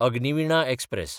Agniveena express